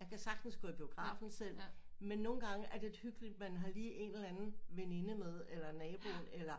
Jeg kan sagtens gå i biografen selv men nogle gange er det hyggeligt man har lige en eller anden veninde med eller nabo eller